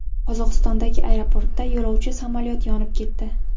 Qozog‘istondagi aeroportda yo‘lovchi samolyoti yonib ketdi.